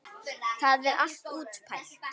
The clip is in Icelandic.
Það er allt útpælt.